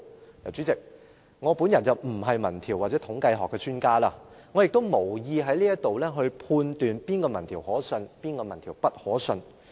代理主席，我本人並非民調或統計學的專家，我亦無意在這裏判斷哪個民調可信，哪個民調不可信。